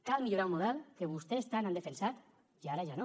cal millorar un model que vostès tant han defensat i ara ja no